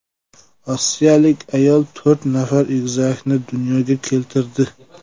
Rossiyalik ayol to‘rt nafar egizakni dunyoga keltirdi.